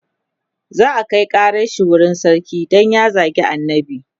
za'a Kai ƙaran shi wurin sarki Dan ya zagi annabi